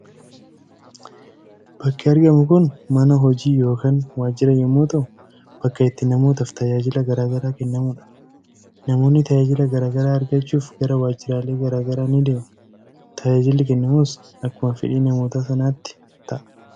Bakki argamu kun mana hojii yookaan waajjira yommuu ta'u, bakka itti namootaaf tajaajilli gara garaa kennamudha. Namoonni tajaajila gara garaa argachuuf gara waajjiraalee gara garaa ni deemu. Tajaajilli kennamus akkauma fedhii namoota sanaatti ta'a.